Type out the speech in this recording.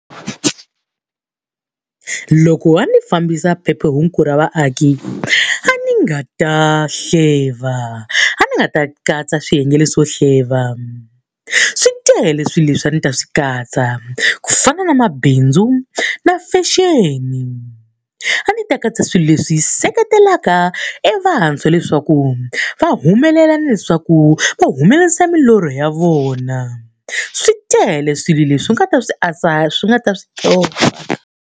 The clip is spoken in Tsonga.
Loko a ndzi fambisa phephahungu ra vaaki a ni nga ta hleva, a ni nga ta katsa swiyenge leswo hleva. Swi tele swilo leswi a ni ta swi katsa, ku fana na mabindzu na fashion. A ni ta katsa swilo leswi seketelaka evantshwa leswaku va humelela na leswaku va humelerisa milorho ya vona. Swi tele swilo leswi nga ta swi swi nga ta .